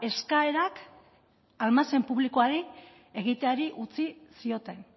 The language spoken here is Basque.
eskaerak almazen publikoari egiteari utzi zioten